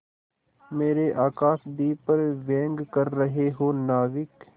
मेरे आकाशदीप पर व्यंग कर रहे हो नाविक